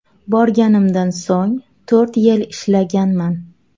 Borganimdan so‘ng to‘rt yil ishlaganman.